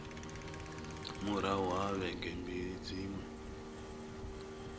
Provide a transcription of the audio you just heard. murahu ha vhege mbili dziṅwe